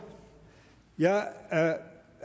jeg